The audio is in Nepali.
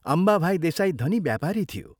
अम्बाभाई देसाई धनी व्यापारी थियो।